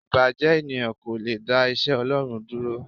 Ìbàjẹ́ ènìyàn kò le dá iṣẹ́ Ọlọ́run dúró.